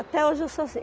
Até hoje eu sou assim.